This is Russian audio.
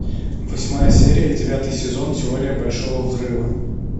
восьмая серия девятый сезон теория большого взрыва